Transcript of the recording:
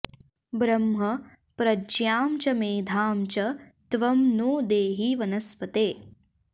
ब्रह्म प्रज्ञां च मेधां च त्वं नो देहि वनस्पते